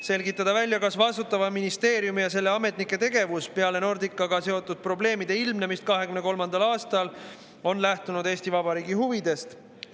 Selgitada välja, kas vastutava ministeeriumi ja selle ametnike tegevus peale Nordicaga seotud probleemide ilmnemist 2023. aastal on lähtunud Eesti Vabariigi huvidest.